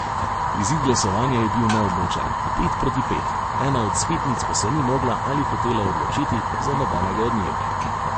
Izid glasovanja je bil neodločen, pet proti pet, ena od svetnic pa se ni mogla ali hotela odločiti za nobenega od njiju.